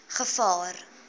gevaar